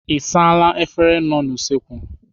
Ị saala efere nọ n'usekwu?